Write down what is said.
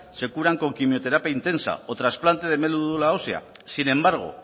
se curan con quimioterapia intensa o trasplante de médula ósea sin embargo